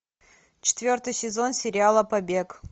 четвертый сезон сериала побег